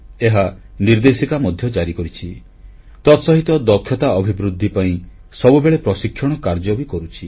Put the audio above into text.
ଏହା ନିର୍ଦ୍ଦେଶିକା ମଧ୍ୟ ଜାରି କରିଛି ତାସହିତ ଦକ୍ଷତା ଅଭିବୃଦ୍ଧି ପାଇଁ ସବୁବେଳେ ପ୍ରଶିକ୍ଷଣ କାର୍ଯ୍ୟ ବି କରୁଛି